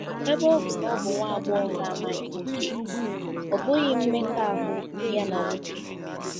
Ebe ọ bụ na ọ bụ nwa agbọghọ na-amaghị nwoke, ọ bụghị “mmekọahụ” ya na nwoke.